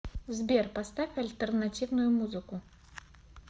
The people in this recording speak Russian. сбер поставь альтернативную музыку